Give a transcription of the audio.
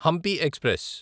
Hampi express